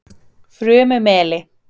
Furumeli